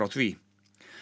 því